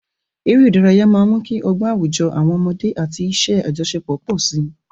Eré ìdárayá máa ń mú kí ọgbọ́n àwùjọ àwọn ọmọdé àti iṣẹ́ àjọṣepọ̀ pọ̀ sí i.